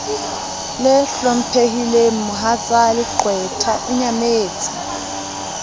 le hlomphehileng mohatsaleqwetha o nyametse